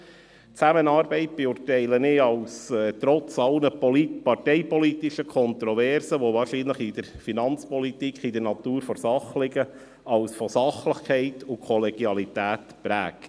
Die Zusammenarbeit beurteile ich – trotz aller parteipolitischen Kontroversen, die bei der Finanzpolitik wahrscheinlich in der Natur der Sache liegen – als von Sachlichkeit und Kollegialität geprägt.